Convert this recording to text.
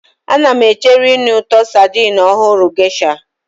Ana m echere ịnụ ụtọ sardine ọhụrụ Geisha.